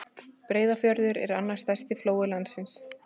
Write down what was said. Breiðafjörður er annar stærsti flói landsins.